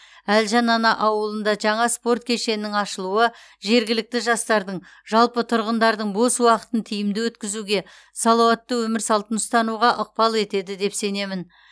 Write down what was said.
әлжан ана ауылында жаңа спорт кешенінің ашылуы жергілікті жастардың жалпы тұрғындардың бос уақытын тиімді өткізуге салауатты өмір салтын ұстануға ықпал етеді деп сенемін